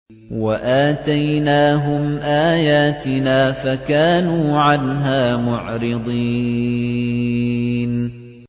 وَآتَيْنَاهُمْ آيَاتِنَا فَكَانُوا عَنْهَا مُعْرِضِينَ